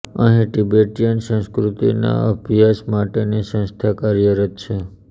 અહીં તિબેટીયન સંસ્કૃતિના અભ્યાસ માટેની સંસ્થા કાર્યરત છે